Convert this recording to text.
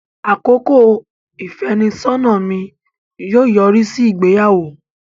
Àkókò ìfẹ́nisọ́nà mi yóò yọrí sí ìgbéyàwó.